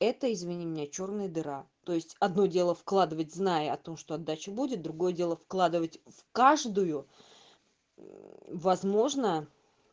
это извини меня чёрная дыра то есть одно дело вкладывать зная о том что отдача будет другое дело вкладывать в каждую возможно